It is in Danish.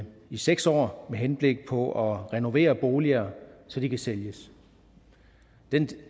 i seks år med henblik på at renovere boliger så de kan sælges